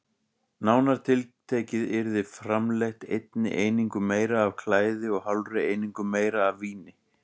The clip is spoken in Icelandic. Nánar tiltekið yrði framleitt einni einingu meira af klæði og hálfri einingu meira af víni.